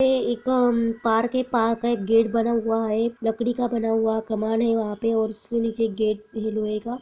पे एक पार्क है पार्क का एक गेट बना हुआ है लकड़ी का बना हुआ सामान है वहाँ पे और उसके नीचे एक गेट है लोहे का।